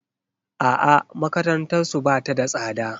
A'a makarantarsu ba ta da tsada.